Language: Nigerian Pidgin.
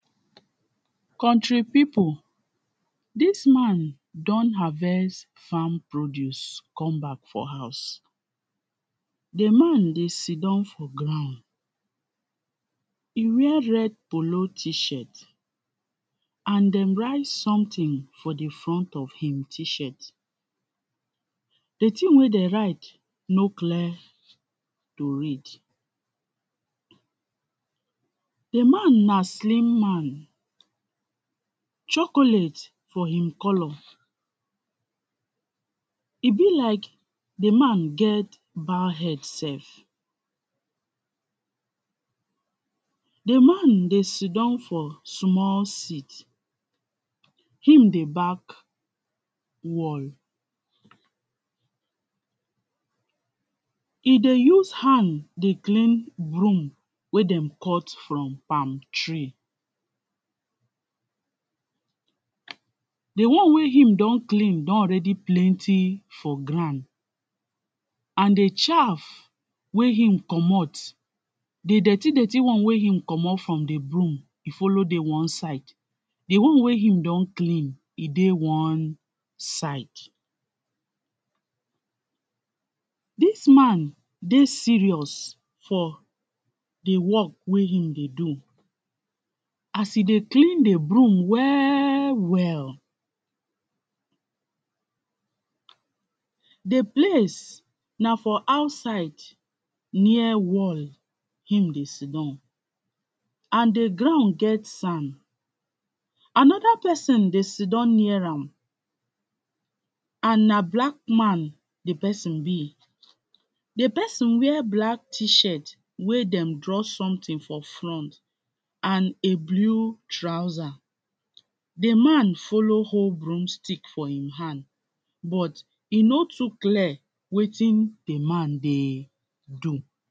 country pipu dis man don harvest farm produce come back for house, di man dey sit down for ground, e wear red polo t-shirt and dem write something for di front of ht-shirt, di tin wen dem write no cler to read di man na slim man, chocolate for e color. e be like di man get bald head self di man dey sidown for small sit e dey back wall. e dey use hand dey clean broom wey dem cut for palm tree di one wey him don clean don already plenty for ground and di chaft wey him comot di dirty dirty one wey e commot for broom follow dey one side, di one wey e don clean ddey one side dis man dey serious for di work wey e dey do. as e dey clean di broom well well de place na for outside near wall where e dey sitdown and di ground get sand anoda pesin dey sitdown near am and na black man di pesin be. di pesin wear black t-shirt were dem draw something for shirt and a blue trouser di man follow hold broom stick for he hand but no too clear wetin di man dey do.